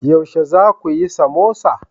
Yaushe za ku yi samosa?